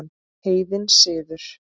Heiðinn siður